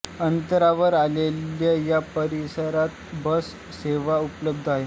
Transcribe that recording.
अंतरावर असलेल्या या परिसरात बस सेवा उपलब्ध आहे